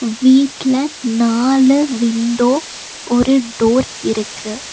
வீட்ல நாலு விண்டோ ஒரு டோர் இருக்கு.